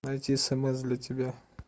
найти смс для тебя